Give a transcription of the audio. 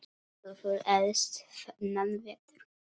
Þeir höfðu elst þennan vetur.